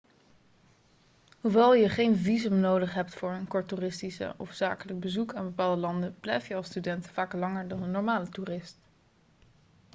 hoewel je geen visum nodig hebt voor een kort toeristisch of zakelijk bezoek aan bepaalde landen blijf je als student vaak langer dan een normale toerist